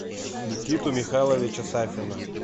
никиту михайловича сафина